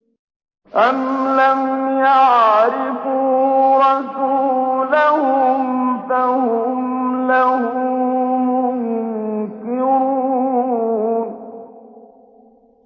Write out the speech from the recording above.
أَمْ لَمْ يَعْرِفُوا رَسُولَهُمْ فَهُمْ لَهُ مُنكِرُونَ